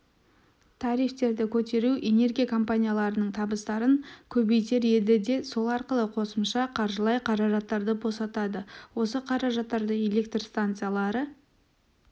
тарифтерді көтеру энергия компанияларының табыстарын көбейтер еді де сол арқылы қосымша қаржылай қаражаттарды босатады осы қаражаттарды электр станциялары